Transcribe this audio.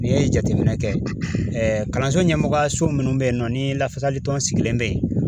N'i ye jateminɛ kɛ kalanso ɲɛmɔgɔya so minnu bɛ yen nɔ ni lafasaltɔn sigilen bɛ yen